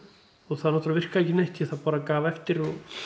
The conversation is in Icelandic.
og það náttúrlega virkaði ekki neitt því það bara gaf eftir